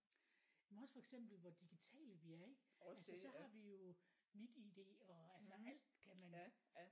Men også for eksempel hvor digitale vi er ikke? Altså så har vi jo MitID og altså alt kan man